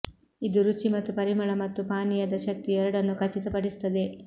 ಇದು ರುಚಿ ಮತ್ತು ಪರಿಮಳ ಮತ್ತು ಪಾನೀಯದ ಶಕ್ತಿ ಎರಡನ್ನೂ ಖಚಿತಪಡಿಸುತ್ತದೆ